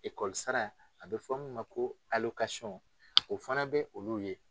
Ikɔlisara a bɛ fɔ' ma ko o fana bɛ olu ye